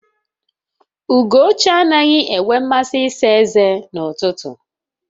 Ugochi anaghị enwe mmasị ịsa eze n'ụtụtụ